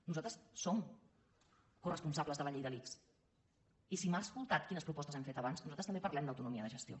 nosaltres som coresponsables de la llei de l’ics i si m’ha escoltat quines propostes hem fet abans nosaltres també parlem d’autonomia de gestió